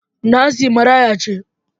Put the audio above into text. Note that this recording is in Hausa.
Nancy maraya ce.